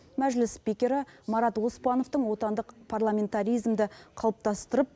мәжіліс спикері марат оспановтың отандық парламентаризмді қалыптастырып